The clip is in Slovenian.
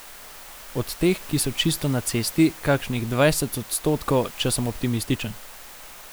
Od teh, ki so čisto na cesti, kakšnih dvajset odstotkov, če sem optimističen.